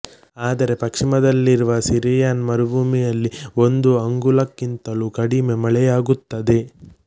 ಆದರೆ ಪಶ್ಚಿಮದಲ್ಲಿರುವ ಸಿರಿಯನ್ ಮರುಭೂಮಿಯಲ್ಲಿ ಒಂದು ಅಂಗುಲಕ್ಕಿಂತಲೂ ಕಡಿಮೆ ಮಳೆಯಾಗುತ್ತದೆ